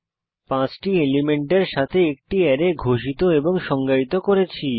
5 টি এলিমেন্টের সাথে একটি অ্যারে ঘোষিত এবং সংজ্ঞায়িত করেছি